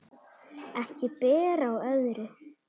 Ekki ber á öðru.